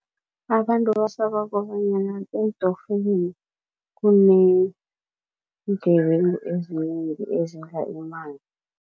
Abantu basaba kobanyana eentokfeleni kuneengebengu ezinengi ezidla imali.